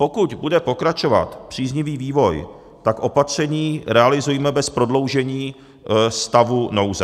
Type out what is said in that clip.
Pokud bude pokračovat příznivý vývoj, tak opatření realizujme bez prodloužení stavu nouze.